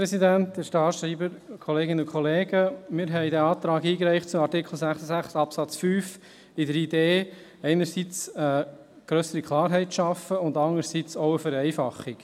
Wir haben diesen Antrag zu Artikel 66 Absatz 5 mit der Idee eingereicht, einerseits grössere Klarheit zu schaffen, andererseits eine Vereinfachung.